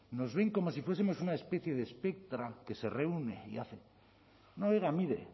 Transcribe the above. nos ven como si fuesemos una especie de espectro que se reúne y hace no oiga mire